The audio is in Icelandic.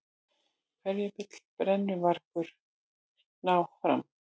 Hverju vill brennuvargurinn ná fram?